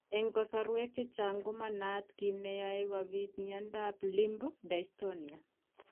Eng' kasarwek chechang' ko manaat kiit neyoe kobit miondop limb dystonia